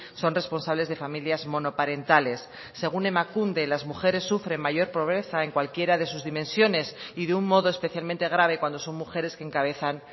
son responsables de familias monoparentales según emakunde las mujeres sufren mayor pobreza en cualquiera de sus dimensiones y de un modo especialmente grave cuando son mujeres que encabezan